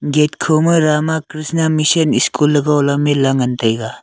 gate khoma rama kriahnan mission school ley gohla menla ngantaiga.